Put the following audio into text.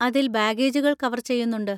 അതിൽ ബാഗേജുകൾ കവർ ചെയ്യുന്നുണ്ട്.